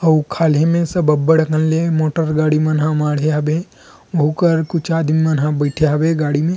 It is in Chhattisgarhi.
अऊ खालहे मे सब अब्बड़ अकन ले मोटर गाड़ी मन ह माढ़े हवे उहु कर कुछ आदमी मन ह बईथे हवे गाड़ी में--